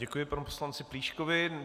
Děkuji panu poslanci Plíškovi.